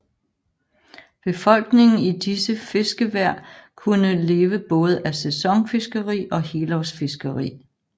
Befolkningen i disse fiskevær kunne leve både af sæsonfiskeri og helårsfiskeri